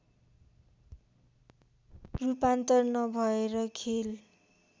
रूपान्तर नभएर खेल